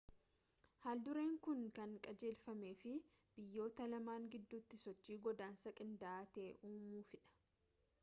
haaldureen kun kan qajeelfameef biyyoota lamaan gidduutti sochii godaansaa qindaa'aa ta'e uumuufidha